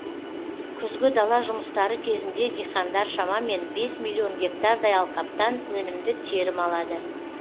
күзгі дала жұмыстары кезінде диқандар шамамен бес миллион гектардай алқаптан өнімді терім алады